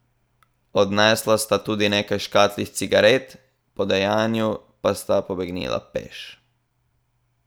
Odnesla sta tudi nekaj škatlic cigaret, po dejanju pa sta pobegnila peš.